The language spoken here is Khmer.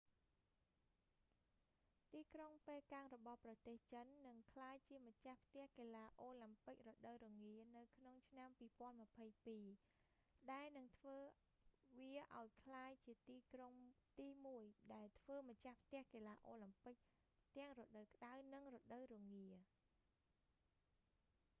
ទីក្រុងប៉េកាំងរបស់ប្រទេសចិន នឹងក្លាយជាម្ចាស់ផ្ទះកីឡាអូឡាំពិករដូវរងារនៅក្នុងឆ្នាំ2022 ដែលនឹងធ្វើវាអោយក្លាយជាទីក្រុងទីមួយដែលធ្វើម្ចាស់ផ្ទះកីឡាអូឡាំពិកទាំងរដូវក្តៅ និងរដូវរងា